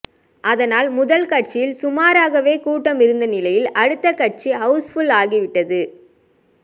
அதனால் முதல் காட்சியில் சுமாராகவே கூட்டம் இருந்த நிலையில் அடுத்த காட்சி ஹவுஸ்புல் ஆகிவிட்டது